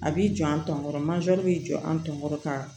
A b'i jɔ an tɔn bɛ jɔ an tɔn ka